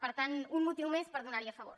per tant un motiu més per estar hi a favor